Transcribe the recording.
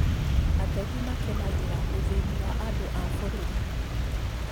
Ateti makenagira ũthīni wa andũ a bũrũri